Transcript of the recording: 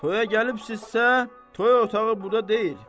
Toya gəlibsizsə, toy otağı burda deyil.